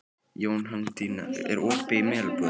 Jóhanndína, er opið í Melabúðinni?